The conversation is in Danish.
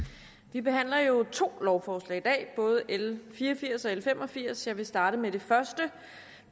vi behandler jo to lovforslag i dag både l fire og firs og l fem og firs og jeg vil starte med det første